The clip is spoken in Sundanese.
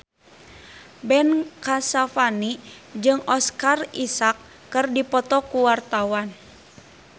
Ben Kasyafani jeung Oscar Isaac keur dipoto ku wartawan